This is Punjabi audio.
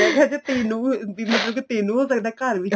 ਮੈਂ ਕਿਆ ਜੇ ਤੈਨੂੰ ਬਿਨਾ ਮਤਲਬ ਤੈਨੂੰ ਹੋ ਸਕਦਾ ਘਰ ਚ